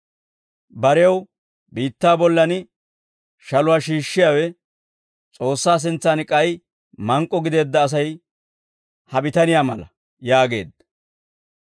«Barew biittaa bollan shaluwaa shiishshiyaawe, S'oossaa sintsan k'ay mank'k'o gideedda Asay ha bitaniyaa mala» yaageedda.